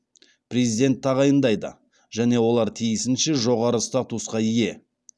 президент тағайындайды және олар тиісінше жоғары статусқа ие